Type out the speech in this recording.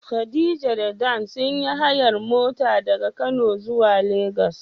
Khadija da Dan sun yi hayar mota daga kano zuwa lagos.